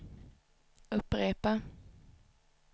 upprepa